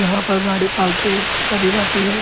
यहाँ पर रानीपाल से आती है।